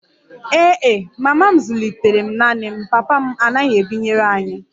Ee e, mama m zụlitere m naanị m, papa m anaghị ebinyere anyị